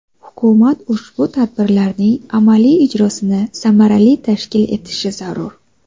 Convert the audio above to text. Hukumat ushbu tadbirlarning amaliy ijrosini samarali tashkil etishi zarur.